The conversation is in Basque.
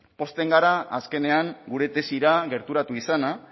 pozten gara azkenean gure desira gerturatu izana